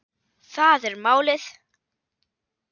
Það er málið.